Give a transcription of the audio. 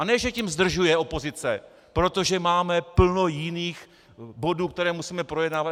A ne že tím zdržuje opozice, protože máme plno jiných bodů, které musíme projednávat.